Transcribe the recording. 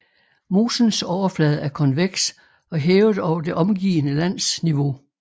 Mosens overflade er konveks og hævet over det omgivende lands niveau